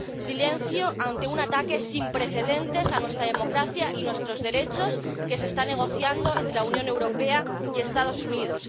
silencio ante un ataque sin precedentes a nuestra democracia y nuestros derechos que se está negociando entre la Unión Europea y los Estados Unidos